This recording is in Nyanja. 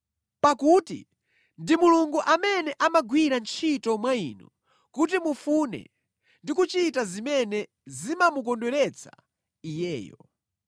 pakuti ndi Mulungu amene amagwira ntchito mwa inu kuti mufune ndi kuchita zimene zimamukondweretsa Iyeyo.